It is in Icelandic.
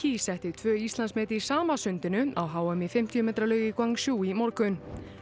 setti tvö Íslandsmet í sama sundinu á h m í fimmtíu metra laug í Gwangju í morgun